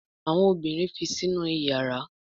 Àwọn obìrin fi Sínú iyàrá.